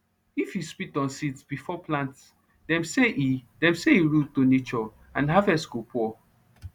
if you spit on seeds before plant dem say e dem say e rude to nature and harvest go poor